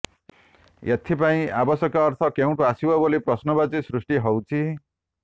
ଏଥିପାଇଁ ଆବଶ୍ୟକ ଅର୍ଥ କେଉଁଠୁ ଆସିବ ବୋଲି ପ୍ରଶ୍ନବାଚୀ ସୃଷ୍ଟି ହଉଛି